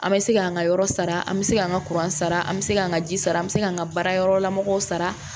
An bɛ se k'an ka yɔrɔ sara an bɛ se k'an ka kuran sara an bɛ se k'an ka ji sara an bɛ se k'an ka baara yɔrɔ lamɔgɔw sara